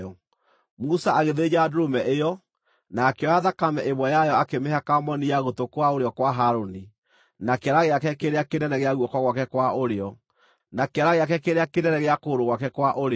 Musa agĩthĩnja ndũrũme ĩyo, na akĩoya thakame ĩmwe yayo akĩmĩhaka moni ya gũtũ kwa ũrĩo kwa Harũni, na kĩara gĩake kĩrĩa kĩnene gĩa guoko gwake kwa ũrĩo, na kĩara gĩake kĩrĩa kĩnene gĩa kũgũrũ gwake kwa ũrĩo.